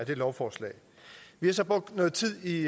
her lovforslag vi har så brugt noget tid i